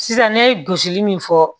Sisan ne ye gosili min fɔ